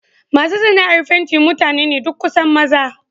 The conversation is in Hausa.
Masu sana'ar fenti mutane ne duk kusan maza.